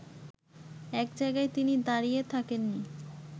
এক জায়গায় তিনি দাঁড়ায়ে থাকেননি